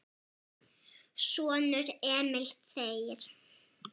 Sonur: Emil Þeyr.